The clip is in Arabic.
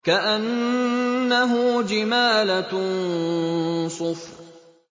كَأَنَّهُ جِمَالَتٌ صُفْرٌ